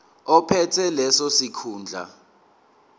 ophethe leso sikhundla